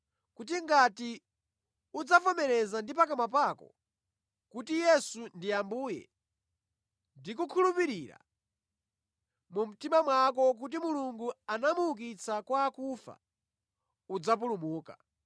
kuti ngati udzavomereza ndi pakamwa pako kuti, “Yesu ndiye Ambuye,” ndi kukhulupirira mu mtima mwako kuti Mulungu anamuukitsa kwa akufa, udzapulumuka.